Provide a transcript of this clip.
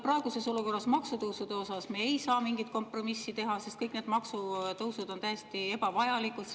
Praeguses olukorras, maksutõusude puhul me ei saa mingit kompromissi teha, sest kõik need maksutõusud on täiesti ebavajalikud.